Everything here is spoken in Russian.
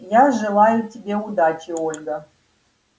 я желаю тебе удачи ольга